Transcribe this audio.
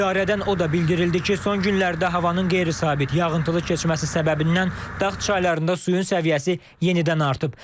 İdarədən o da bildirildi ki, son günlərdə havanın qeyri-sabit, yağıntılı keçməsi səbəbindən dağ çaylarında suyun səviyyəsi yenidən artıb.